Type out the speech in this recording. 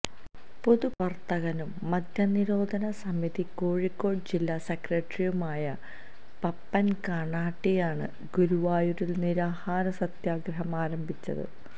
പൊതു പ്രവർത്തകനും മദ്യ നിരോധന സമിതി കോഴിക്കോട് ജില്ലാ സെക്രട്ടറിയുമായ പപ്പൻ കന്നാട്ടിയാണ് ഗുരുവായൂരിൽ നിരാഹാര സത്യഗ്രഹം ആരംഭിച്ചത്